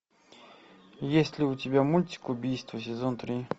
есть ли у тебя мультик убийство сезон три